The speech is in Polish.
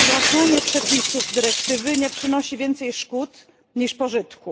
pozłacanie przepisów dyrektywy nie przynosi więcej szkód niż pożytku.